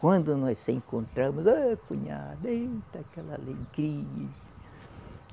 Quando nós se encontramos, ô cunhado, eita, aquela alegria!